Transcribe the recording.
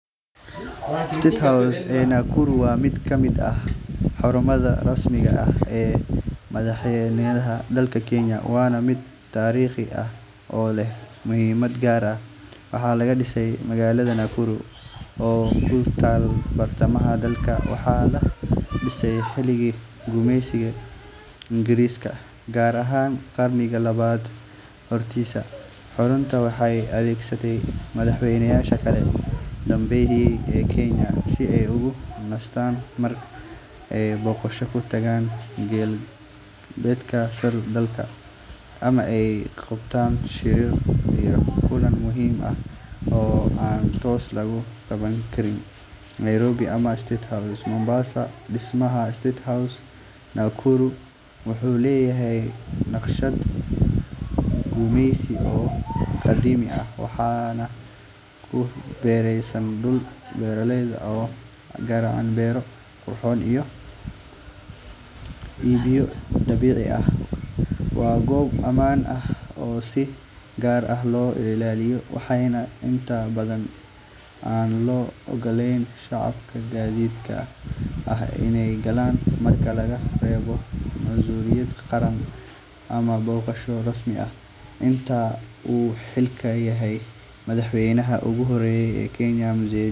Miisaaniyadda loogu talagalay dayactirka magaalada Nakuru sannadkan waxay gaareysaa boqolaal milyan oo shilin, taas oo ay dowladdu si gaar ah ugu qoondeysay si loo hagaajiyo, loo cusbooneysiiyo loona ilaaliyo xaruntaas taariikhiga ah oo leh muhiimad weyn oo ku saabsan maamulka qaranka iyo taariikhda dalka Kenya. Qorshayaasha dayactirka waxaa ka mid ah dib u dhiska saqafka, hagaajinta nidaamyada korontada iyo biyaha, rinjiyeynta dhismaha guud ahaan, iyo weliba hagaajinta agabyada gudaha sida alaabta xafiisyada, sagxadaha, iyo qolalka shirarka. Waxa kale oo qorshuhu ka mid yahay in la sameeyo xayndaab cusub, la hagaajiyo amniga, iyo in la dhiso jidad cusub oo fududeynaya isu socodka gudaha xarunta.